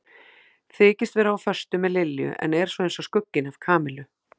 Þykist vera á föstu með Lilju en er svo eins og skugginn af Kamillu.